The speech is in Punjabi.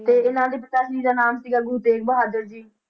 ਤੇ ਇਹਨਾਂ ਦੇ ਪਿਤਾ ਜੀ ਦਾ ਨਾਂ ਸੀਗਾ ਗੁਰੂ ਤੇਗ ਬਹਾਦਰ ਜੀ।